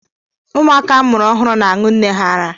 Ụmụaka a mụrụ ọhụrụ na-aṅụ nne ha ara